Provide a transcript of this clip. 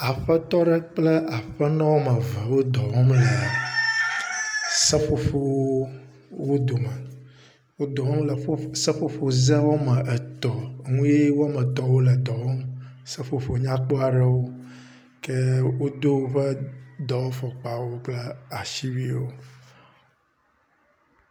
Aƒetɔ ɖe kple aƒenɔ woameve wo dɔ wɔm le seƒoƒowo dome. Wo dɔ wɔm seƒoƒozẽ woametɔ̃ ŋu ye woametɔ̃ wole dɔ wɔm, seƒoƒo nya kpɔ aɖewo ke wodo woƒe dɔwɔfɔkpawo kple asiwuiwo